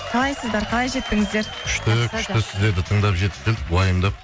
қалайсыздар қалай жеттіңіздер күшті күшті сіздерді тыңдап жетіп келдік уайымдап